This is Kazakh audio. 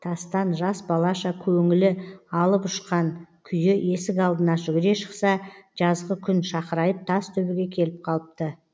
тастан жас балаша көңілі алып ұшқан күйі есік алдына жүгіре шықса жазғы күн шақырайып тас төбеге келіп қалыпты